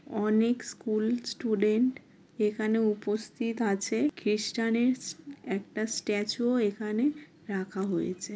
অনেক school student এখানে উপস্থিত আছে খ্রিস্টানেস একটা স্ট্যাচু -ও এখানে রাখা হয়েছে।